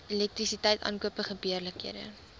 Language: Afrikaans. elektrisiteit aankope gebeurlikhede